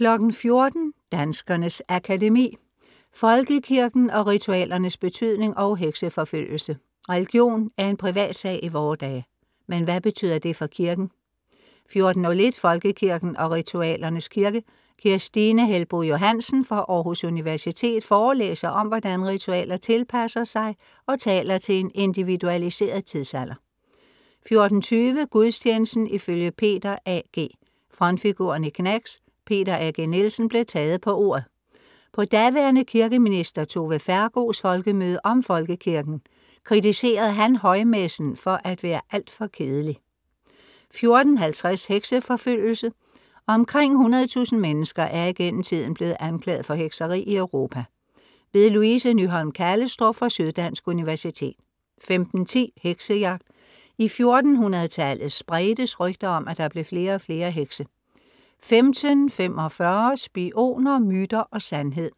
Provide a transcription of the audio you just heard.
14:00 Danskernes Akademi. Folkekirken og ritualernes betydning & Hekseforfølgelse. Religion er en privatsag i vore dage, men hvad betyder det for kirken? 14:01 Folkekirken og ritualernes kirke. Kirstine Helboe Johansen fra Aarhus Universitet forelæser om, hvordan ritualer tilpasser sig og taler til en individualiseret tidsalder 14:20 Gudstjenesten ifølge Peter A.G. Frontfiguren i Gnags, Peter A.G. Nielsen, blev taget på ordet. På daværende kirkeminister Tove Fergos folkemøde om folkekirken i. Kritiserede han højmessen for at være alt for kedelig 14:50 Hekseforfølgelse. Omkring 100.000 mennesker er igennem tiden blevet anklaget for hekseri i Europa.. Louise Nyholm Kallestrup fra Syddansk Universitet 15:10 Heksejagt. I 1400tallet spredtes rygter om, at der blev flere og flere hekse. 15:45 Spioner, myter og sandhed.